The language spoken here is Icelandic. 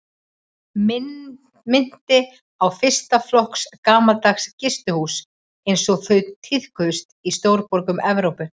Minnti á fyrsta flokks gamaldags gistihús einsog þau tíðkuðust í stórborgum Evrópu.